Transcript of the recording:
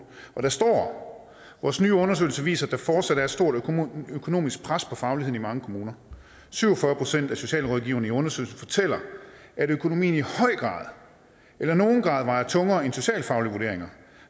og der står vores nye undersøgelse viser at der fortsat er et stort økonomisk pres på faglighed i mange kommuner syv og fyrre af socialrådgiverne i undersøgelsen fortæller at økonomien i høj eller nogen grad vejer tungere end socialfaglige vurderinger